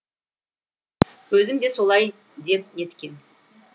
өзім де солай деп неткем